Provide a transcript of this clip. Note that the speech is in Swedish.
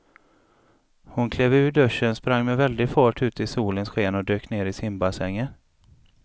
Hon klev ur duschen, sprang med väldig fart ut i solens sken och dök ner i simbassängen.